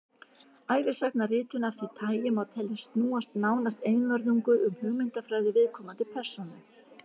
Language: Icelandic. ævisagnaritun af því tagi má teljast snúast nánast einvörðungu um hugmyndafræði viðkomandi persónu